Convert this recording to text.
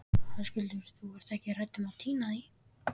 Höskuldur: Þú ert ekki hrædd um að týna því?